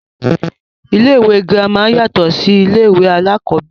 Ilé ìwé girama yàtọ̀ sí ilé ìwé alákọ̀ọ́bẹ̀rẹ̀.